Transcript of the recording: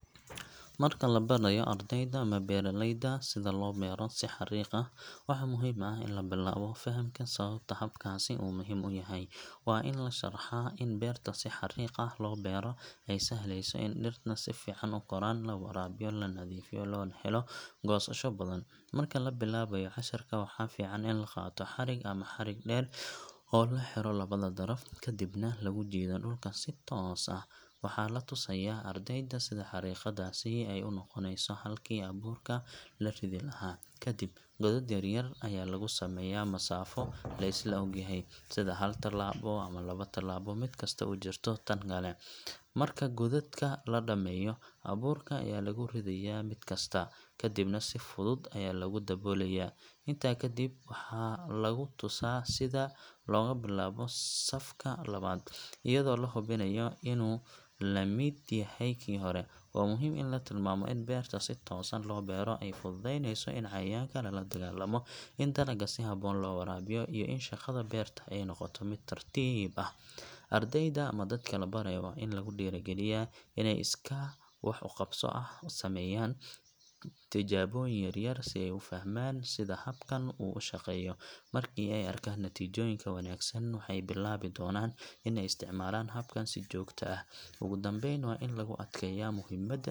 Marka la barayo ardayda ama beeraleyda sida loo beero si xariiq ah, waxaa muhiim ah in la bilaabo fahamka sababta habkaasi uu muhiim u yahay. Waa in la sharraxaa in beerta si xariiq ah loo beeraa ay sahlayso in dhirta si fiican u koraan, la waraabiyo, la nadiifiyo, loona helo goosasho badan. Marka la bilaabayo casharka, waxaa fiican in la qaato xarig ama xadhig dheer oo la xidho labada daraf, kadibna lagu jiido dhulka si toos ah. Waxaa la tusayaa ardayda sida xariiqdaasi ay u noqonayso halkii abuurka la ridi lahaa. Kadib, godad yaryar ayaa lagu sameeyaa masaafo la isla ogyahay, sida hal talaabo ama laba talaabo mid kasta u jirto tan kale. Marka godadka la dhammeeyo, abuurka ayaa lagu ridayaa mid kasta, kadibna si fudud ayaa lagu daboolayaa. Intaa kadib, waxaa lagu tusaa sida looga bilaabo safka labaad, iyadoo la hubinayo inuu la mid yahay kii hore. Waa muhiim in la tilmaamo in beerta si toosan loo beero ay fududeynayso in cayayaanka lala dagaallamo, in dalagga si habboon loo waraabiyo, iyo in shaqada beerta ay noqoto mid tartiib ah. Ardayda ama dadka la barayo waa in lagu dhiirrigeliyaa inay si iskaa wax u qabso ah u sameeyaan tijaabooyin yar yar si ay u fahmaan sida habkan uu u shaqeeyo. Markii ay arkaan natiijooyinka wanaagsan, waxay bilaabi doonaan in ay isticmaalaan habkan si joogto ah. Ugu dambayn, waa in lagu adkeeyaa muhiimada .